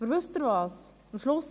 Aber wissen Sie was?